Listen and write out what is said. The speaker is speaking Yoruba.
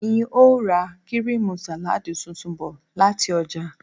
N óò ra kíríìmù sàláàdì tuntun bò̩ láti o̩jà